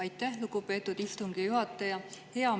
Aitäh, lugupeetud istungi juhataja!